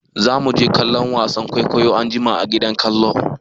Zamu je kallon wasan kwaikwayon anjima a gidan kallo.